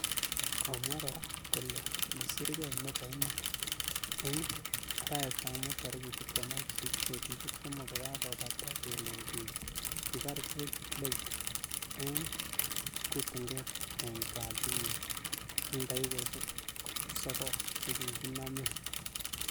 Komwaa kora kole kisirkei nepo iman ing araet ap mut tarik 28 , petushek somok kokakopata kelen kipar George Floyd ing kutunget eng katit nyi eng dakikashek sokol che kikinamee.